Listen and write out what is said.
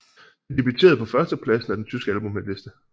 Det debuterede på førstepladsen af den tyske albumhitliste